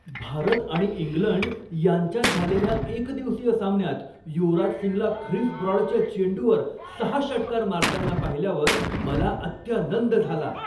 भारत आणि इंग्लंड यांच्यात झालेल्या एकदिवसीय सामन्यात युवराज सिंगला ख्रिस ब्रॉडच्या चेंडूवर सहा षटकार मारताना पाहिल्यावर मला अत्यानंद झाला.